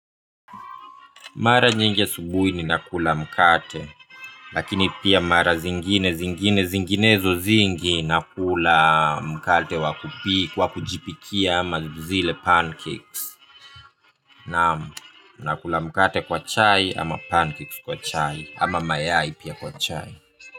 Mara nyingi asubuhi ni nakula mkate. Lakini pia mara zingine zingine zinginezo zingi. Nakula mkate wakupi wakujipikia ama zile pancakes. Naam, nakula mkate kwa chai ama pancakes kwa chai ama mayai pia kwa chai.